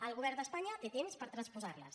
el govern d’espanya té temps per transposarles